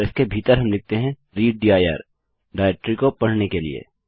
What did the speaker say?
और इसके भीतर हम लिखते हैं रीड दिर डाइरेक्टरी को पढ़ने के लिए